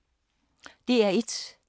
DR1